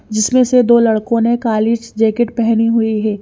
जिसमें से दो लड़कों ने काली जैकेट पहनी हुई है।